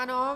Ano.